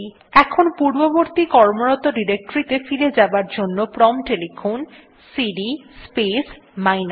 এখন পূর্ববর্তী কর্মরত ডিরেক্টরীতে ফিরে যাবার জন্য প্রম্পট এ লিখুন সিডি স্পেস মাইনাস